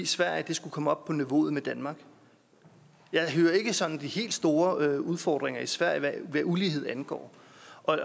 sverige skulle komme op på niveau med danmark jeg hører ikke sådan om de helt store udfordringer i sverige hvad ulighed angår